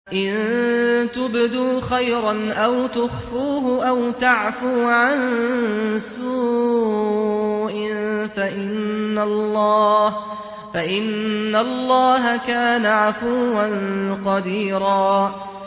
إِن تُبْدُوا خَيْرًا أَوْ تُخْفُوهُ أَوْ تَعْفُوا عَن سُوءٍ فَإِنَّ اللَّهَ كَانَ عَفُوًّا قَدِيرًا